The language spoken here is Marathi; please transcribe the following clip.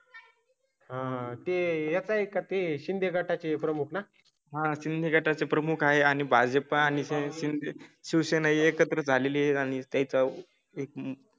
हां, हां ते येताय का? ते शिंदे गटाचे प्रमुख ना. हा सिंधी गटाचे प्रमुख आहे आणि भाजप आणि शिवसेना एकत्र झाले आणि त्याचा एक.